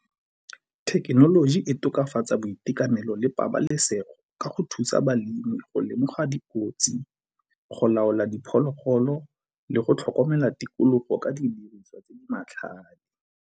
Thekenoloji e tokafatsa boitekanelo le pabalesego ka go thusa balemirui go lemoga dikotsi, go laola diphologolo le go tlhokomela tikologo ka didiriswa tse di matlhale.